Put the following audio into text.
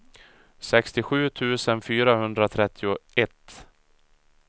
sextiosju tusen fyrahundratrettioett